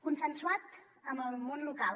consensuat amb el món local